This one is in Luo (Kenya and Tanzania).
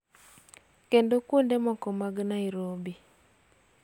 Kendo kuonde moko mag Nairobi.